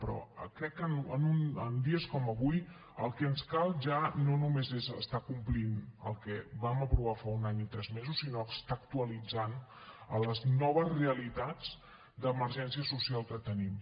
però crec que en dies com avui el que ens cal ja no només és estar complint el que vam aprovar fa un any i tres mesos sinó estar actualitzant a les noves realitats d’emergència social que tenim